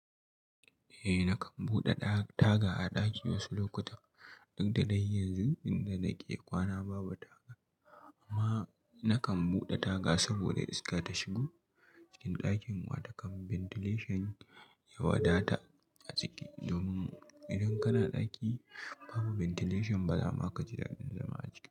Eh nakan buɗe taga a ɗaki wasu lokutan. Duk da dai yanzu inda nake kwana babu taga amma nakan buɗe taga saboda iska ta shigo cikin ɗakin wata kan ventilation ya wadata a ciki. Domin idan kana ɗaki babu ventilation ba za ma ka ji daɗin zama a ciki.